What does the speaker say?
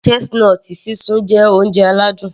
Chestnut sísun jẹ́ oúnjẹ aládùn